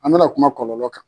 An bɛna kuma kɔlɔlɔ kan